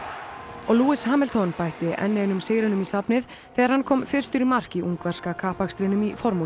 og Lewis Hamilton bætti enn einum sigrinum í safnið þegar hann kom fyrstur í mark í ungverska kappakstrinum í formúlu